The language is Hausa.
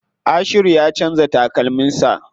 Ashiru ya canza takalmin sa.